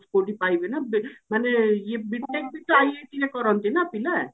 କଉଠି ପାଇବି ନା ବେ ମାନେ ଇଏ B.TECH ବି IIT ରେ କରନ୍ତି ନା ପିଲା